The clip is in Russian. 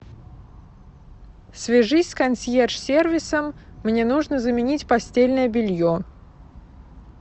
свяжись с консьерж сервисом мне нужно заменить постельное белье